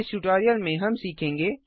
इस ट्यूटोरियल में हम सीखेंगे